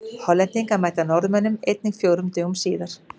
Hollendingar mæta Norðmönnum einnig fjórum dögum síðar.